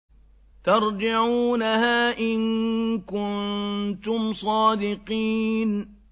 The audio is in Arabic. تَرْجِعُونَهَا إِن كُنتُمْ صَادِقِينَ